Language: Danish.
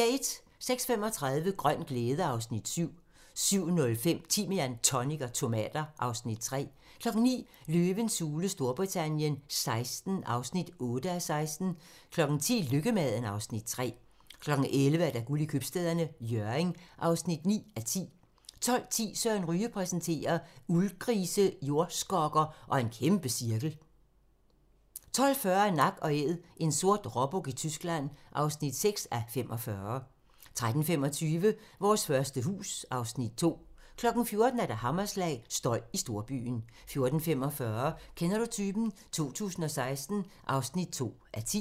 06:35: Grøn glæde (Afs. 7) 07:05: Timian, tonic og tomater (Afs. 3) 09:00: Løvens hule Storbritannien XVI (8:16) 10:00: Lykkemaden (Afs. 3) 11:00: Guld i Købstæderne - Hjørring (9:10) 12:10: Søren Ryge præsenterer: Uldgrise, jordskokker og en kæmpecirkel 12:40: Nak & Æd - en sort råbuk i Tyskland (6:45) 13:25: Vores første hus (Afs. 2) 14:00: Hammerslag - støj i storbyen 14:45: Kender du typen? 2016 (2:10)